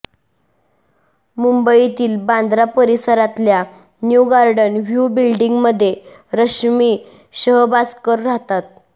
मुंबईतील बांद्रा परिसरातल्या new garden view बिल्डींगमध्ये रश्मी शहबाजकर राहतात